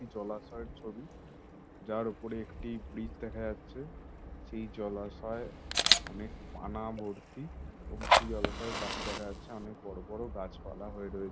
জলাশয়ের ছবি। যার ওপরে একটি ব্রিজ দেখা যাছে। সেই জলাশয়ে অনেক পানা ভর্তি এবং জলাশয়ের পশে দেখা যাচ্ছে অনেক বড়ো বড়ো গাছপালা হয়ে রয়েছ--